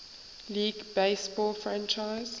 league baseball franchise